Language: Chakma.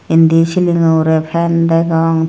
indi silingo ugure fen degong.